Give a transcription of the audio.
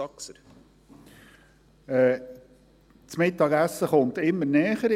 Das Mittagessen kommt immer näher.